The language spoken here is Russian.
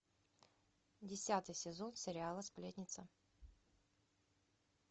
десятый сезон сериала сплетница